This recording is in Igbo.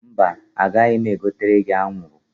Mba, agaghị m egotere gi anwụrụ